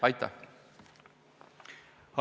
Aitäh!